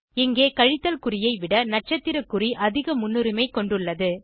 இங்கே கழித்தல் குறியை விட நட்சத்திர குறி அதிக முன்னுரிமை கொண்டுள்ளது